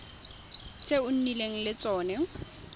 tse o nnileng le tsone